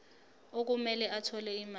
okumele athole imali